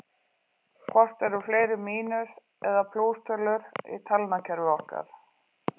Hvort eru fleiri mínus- eða plústölur í talnakerfi okkar?